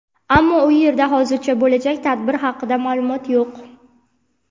ammo u yerda hozircha bo‘lajak tadbir haqida ma’lumotlar yo‘q.